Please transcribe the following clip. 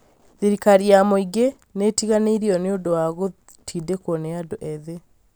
thirikari ya mũingĩ nĩ ĩtiganĩirio nĩ ũndũ wa gũtindĩkwo nĩ andũ ethĩ